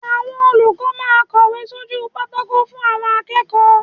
Àwọn olùkọ́ máa ń kọ̀wé sójú pátákó fún àwọn akẹ́kọ̀ọ́.